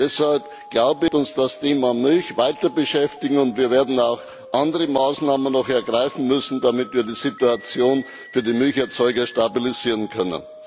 Deshalb wird uns das Thema Milch weiterbeschäftigen, und wir werden auch noch andere Maßnahmen ergreifen müssen, damit wir die Situation für die Milcherzeuger stabilisieren können.